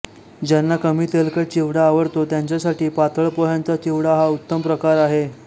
ज्यांना कमी तेलकट चिवडा आवडतो त्यांच्यासाठी पातळ पोह्यांचा चिवडा हा उत्तम प्रकार आहे